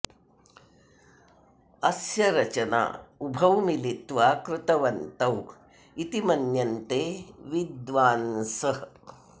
अस्य रचना उभौ मिलित्वा कृतवन्तौ इति मन्यन्ते विद्वान्सः